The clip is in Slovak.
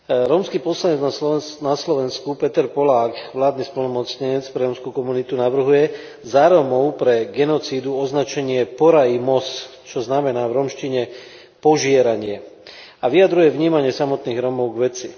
Rómsky poslanec na Slovensku, Peter Polák, vládny splnomocnenec pre rómsku komunitu, navrhuje za Rómov pre genocídu označenie porajmos, čo znamená v rómčine požieranie a vyjadruje vnímanie samotných Rómov k veci.